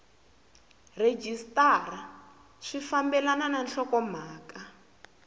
rhejisitara swi fambelena na nhlokomhaka